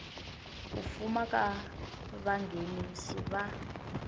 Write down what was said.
ku fuma ka vanghenisi va